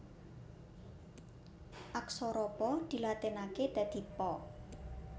Aksara Pa dilatinaké dadi Pa